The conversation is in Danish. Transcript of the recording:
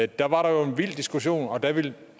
der var der jo en vild diskussion og der ville